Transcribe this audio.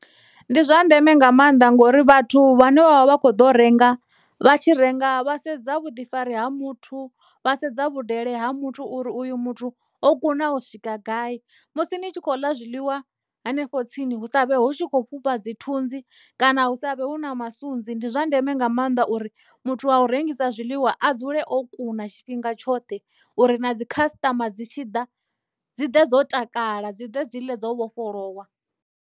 Ndi zwa ndeme nga maanḓa ngori vhathu vhane vha vha vha kho ḓo renga vha tshi renga vha sedza vhuḓifari ha muthu vha sedza vhudele ha muthu uri uyu muthu o kuna u swika gai musi ni tshi khou ḽa zwiḽiwa hanefho tsini hu sa vhe hu tshi kho fhufha dzi thunzi kana hu sa vhe hu na masunzi ndi zwa ndeme nga maanḓa uri muthu wa u rengisa zwiḽiwa a dzule o kuna tshifhinga tshoṱhe uri na dzi khasiṱama dzi tshi ḓa dzi ḓe dzo takala dzi ḓe dzi ḽe dzo vhofholowa.